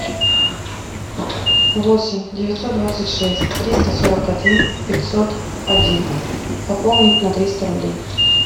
восемь девятьсот двадцать шесть триста сорок один пятьсот один пополнить на триста рублей